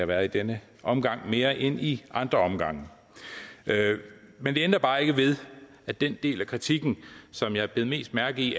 været i denne omgang også mere end i andre omgange men det ændrer bare ikke ved at den del af kritikken som jeg bed mest mærke i